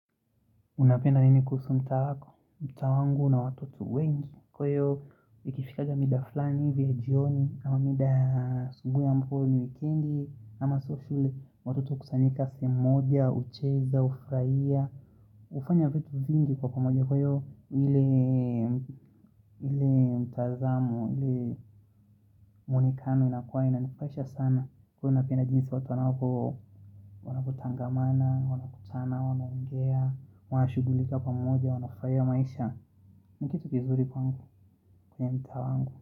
Unapenda nini kuhusu mtaa wako? Mtaa wangu una watoto wengi kwa hiyo, ikifikanga mida fulani, hivi ya jioni, ama mida ya asubuhi ambapo ni wikendi, ama holiday Watoto hukusanyika sehemu moja, hucheza, hufurahia, hufanya vitu vingi kwa pamoja kwa hiyo ile mtazamo, ile mwonekano inakuwa inanifurahisha sana Kwa hiyo napenda jinsi watu wanavyotangamana, wanakutana, wanaongea, wanashughulika pamoja wanafurahia maisha. Ni kitu kizuri kwangu kwenye mtaa wangu.